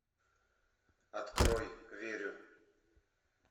открой верю